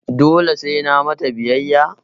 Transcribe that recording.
Dole sai na mata biyayya?